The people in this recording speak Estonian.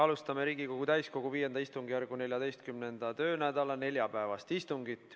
Alustame Riigikogu täiskogu V istungjärgu 14. töönädala neljapäevast istungit.